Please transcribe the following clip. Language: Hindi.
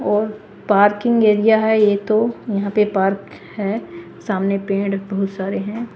और पार्किंग एरिया है ये तो यहां पे पार्क हैं सामने पेड़ बोहोत सारे हैं।